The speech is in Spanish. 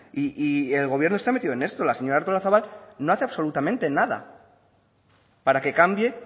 y el gobierno está metido en esto la señora artolazabal no hace absolutamente nada para que cambie